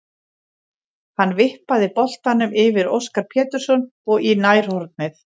Hann vippaði boltanum yfir Óskar Pétursson og í nærhornið.